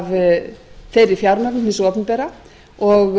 verið af þeirri fjármögnun hins opinbera og